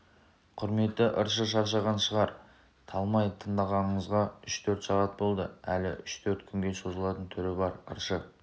құрметті ыршы шаршаған шығар талмай тыңдағанымызға үш-төрт сағат болды әлі үш-төрт күнге созылатын түрі бар ыршы